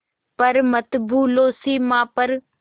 पर मत भूलो सीमा पर